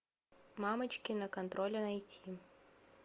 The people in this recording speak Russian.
мамочки на контроле найти